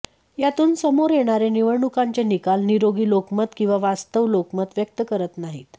यातून समोर येणारे निवडणुकांचे निकाल निरोगी लोकमत किंवा वास्तव लोकमत व्यक्त करत नाहीत